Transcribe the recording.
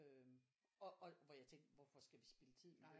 Øh og hvor jeg tænkte hvorfor skal vi spilde tid med det